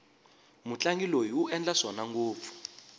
mutlangi loyi u endla swona ngopfu